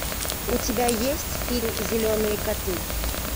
у тебя есть фильм зеленые коты